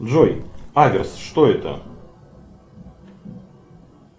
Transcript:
джой аверс что это